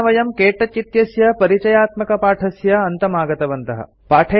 एतेन वयं क्तौच इत्यस्य परिचयात्मकपाठस्य अन्तम् आगतवन्तः